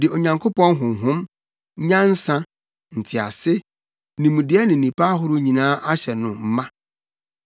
de Onyankopɔn Honhom, nyansa, ntease, nimdeɛ ne nnepa ahorow nyinaa ahyɛ no mma